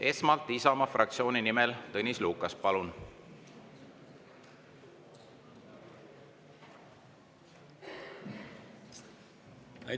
Esmalt Isamaa fraktsiooni nimel Tõnis Lukas, palun!